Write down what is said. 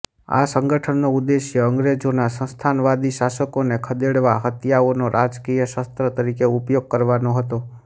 આ સંગઠનનો ઉદ્દેશ્ય અંગ્રેજોના સંસ્થાનવાદી શાસનને ખદેડવા હત્યાઓનો રાજકીય શસ્ત્ર તરીકે ઉપયોગ કરવાનો હતો